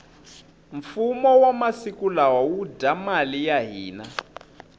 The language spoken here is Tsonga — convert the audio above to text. fumo wa masiku lawa wu dya mali ya hina